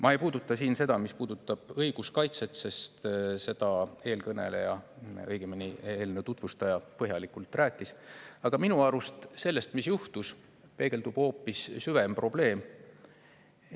Ma ei puuduta siin seda, mis puutub õiguskaitsesse, sest sellest eelkõneleja, õigemini, eelnõu tutvustaja põhjalikult rääkis, aga minu arust sellest, mis juhtus, peegeldub hoopis probleem.